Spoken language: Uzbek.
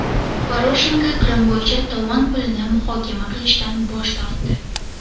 Poroshenko Qrim bo‘yicha tovon pulini muhokama qilishdan bosh tortdi.